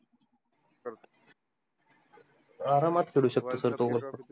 आरामात खेडु शकतो sir तो मस्त